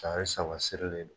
tari saba sirilen do